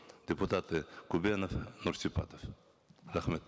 депутаты көбенов нұрсипатов рахмет